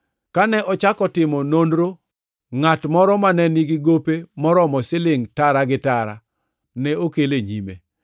Kane ochako timo nonrono, ngʼat moro mane nigi gope moromo silingʼ tara gi tara ne okel e nyime.